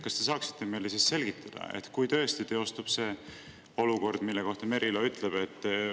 Kas te saaksite meile selgitada, et kui tõesti teostub see olukord, mille kohta Merilo ütles …